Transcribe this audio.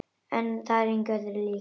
Það er engu öðru líkt.